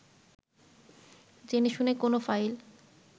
জেনেশুনে কোনো ফাইল